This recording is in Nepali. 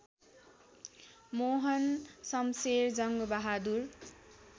मोहन शम्शेर जङ्गबहादुर